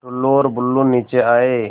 टुल्लु और बुल्लु नीचे आए